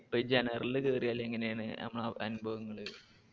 ഇപ്പൊ general ൽ കേറിയാൽ എങ്ങനെ ആണ് അനുഭവങ്ങള്.